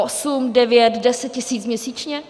Osm, devět, deset tisíc měsíčně?